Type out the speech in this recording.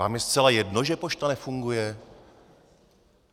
Vám je zcela jedno, že pošta nefunguje?